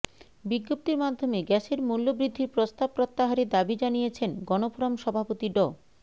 বিজ্ঞপ্তির মাধ্যমে গ্যাসের মূল্যবৃদ্ধির প্রস্তাব প্রত্যাহারের দাবি জানিয়েছেন গণফোরাম সভাপতি ড